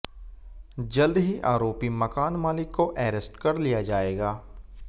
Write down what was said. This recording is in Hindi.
जल्द ही आरोपी मकान मालिक को अरेस्ट कर लिया जाएगा